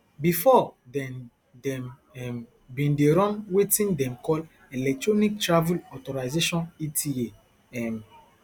bifor den dem um bin dey run wetin dem call electronic travel authorisation eta um